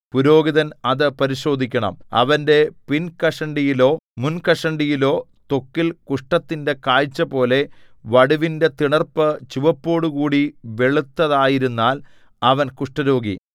പുരോഹിതൻ അത് പരിശോധിക്കണം അവന്റെ പിൻകഷണ്ടിയിലോ മുൻകഷണ്ടിയിലോ ത്വക്കിൽ കുഷ്ഠത്തിന്റെ കാഴ്ചപോലെ വടുവിന്റെ തിണർപ്പ് ചുവപ്പോടുകൂടി വെളുത്തതായിരുന്നാൽ അവൻ കുഷ്ഠരോഗി